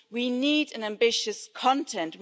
We need ambitious content.